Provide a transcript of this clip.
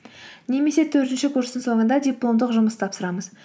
немесе төртінші курстың соңында дипломдық жұмыс тапсырамыз